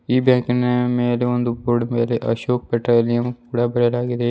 ಈ ಬ್ಯಾಂಕಿನ ಮೇಲೆ ಒಂದು ಬೋರ್ಡ್ ಮೇಲೆ ಅಶೋಕ್ ಪೆಟ್ರೋಲಿಯಂ ಕೂಡ ಬರೆಯಲಾಗಿದೆ.